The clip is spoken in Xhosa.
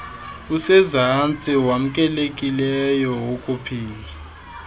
usezantsi wamkelekileyo wokuphila